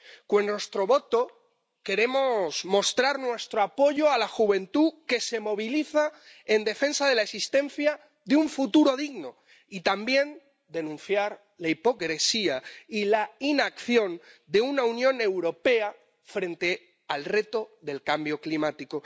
Con nuestro voto queremos mostrar nuestro apoyo a la juventud que se moviliza en defensa de la existencia de un futuro digno y también denunciar la hipocresía y la inacción de la Unión Europea frente al reto del cambio climático.